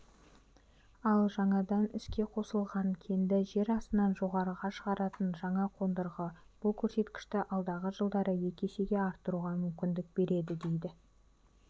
ал жаңадан іске қосылған кенді жер астынан жоғарыға шығаратын жаңа қондырғы бұл көрсеткішті алдағы жылдары екі есеге арттыруға мүмкіндік береді дейді